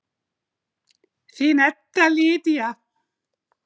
Þín Edda Lydía.